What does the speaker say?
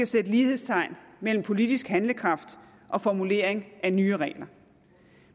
sætte lighedstegn mellem politisk handlekraft og formulering af nye regler